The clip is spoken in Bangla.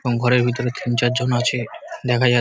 এবং ঘরের ভিতরে তিন চার জন আছে দেখা যাচ--